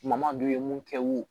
Ɲamadu ye mun kɛ wo